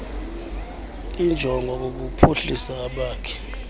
injongo kukuphuhlisa abakhi